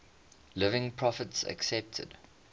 living prophets accepted